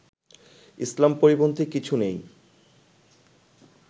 ইসলাম পরিপন্থী কিছু নেই